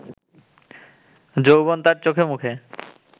যৌবন তাঁর চোখ-মুখে